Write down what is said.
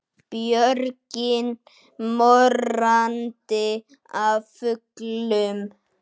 Björgin morandi af fuglum.